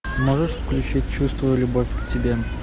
можешь включить чувствую любовь к тебе